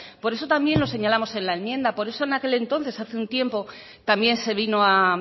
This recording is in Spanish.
por eso también lo señalamos en la enmienda por eso en aquel entonces hace un tiempo también se vino a